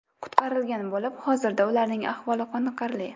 qutqarilgan bo‘lib, hozirda ularning ahvoli qoniqarli.